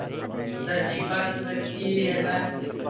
ಅದ ದೀಪಾದು ಹಚ್ಚಿ ಎಲ್ಲಾ.